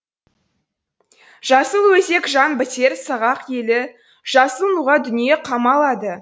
жасыл өзек жан бітер сағақ әлі жасыл нуға дүние қамалады